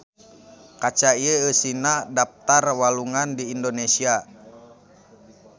Kaca ieu eusina daptar walungan di Indonesia.